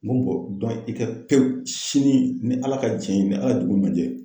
N ko i kɛ pewu sini ni Ala ka jɛn ye ni Ala ye dugu ɲuman gɛ.